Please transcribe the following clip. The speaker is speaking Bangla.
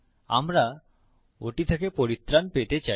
আমরা ওটি থেকে পরিত্রান পেতে চাই